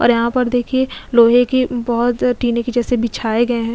और यहां पर देखिए लोहे की बहुत टीने की जैसे बिछाए गए हैं।